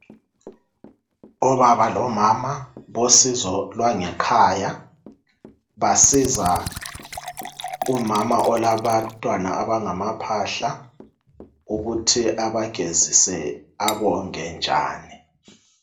obaba lomama bosizolwangekhaya basiza umama olabantwana abangaba phahla ukuthi aba gezise abonge njani.